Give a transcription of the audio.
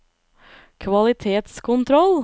kvalitetskontroll